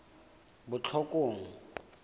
botlhokong